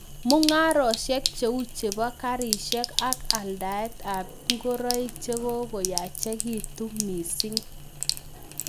Mungarosiek cheu chepoo karisiek ak aldaet ap ingoroik chekokoyachekitu mising